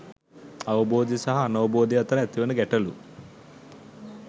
අවබෝධය සහ අනවබෝධය අතර ඇතිවන ගැටලු